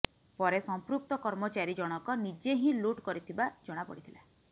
ପରେ ସମ୍ପୃକ୍ତ କର୍ମଚାରୀ ଜଣକ ନିଜେ ହିଁ ଲୁଟ୍ କରିଥିବା ଜଣା ପଡିଥିଲା